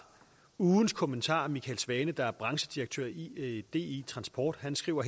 ugens kommentar fra michael svane der er branchedirektør i di transport som skriver